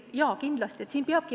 Jaa, kindlasti.